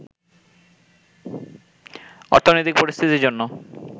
অর্থনৈতিক পরিস্থিতির জন্য